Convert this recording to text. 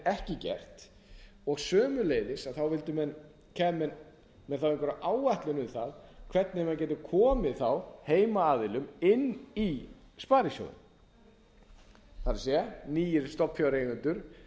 ekki gert sömuleiðis kæmu menn með þá einhverja áætlun um það hvernig menn gætu komið þá heimaaðilum inn í sparisjóðina það er nýir stofnfjáreigendur